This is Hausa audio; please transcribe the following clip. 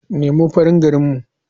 Nemo farin gari mun.